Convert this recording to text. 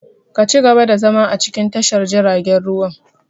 Ka ci gaba da zama a cikin tashar jiaragen ruwan!